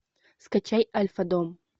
скачай альфа дом